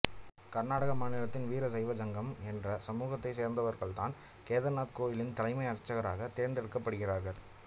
கர்நாடக மாநிலத்தின் வீரசைவ ஜங்கம் என்ற சமூகத்தை சேர்ந்தவர்தான் கேதார்நாத் கோயிலின் தலைமை அர்ச்சகராகத் தேர்ந்தெடுக்கப்படுகிறார்